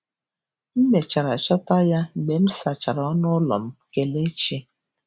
M mechara chọta ya mgbe m sachara ọnụ ụlọ m. Kelechi.